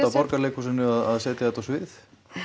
Borgarleikhúsinu að setja þetta á svið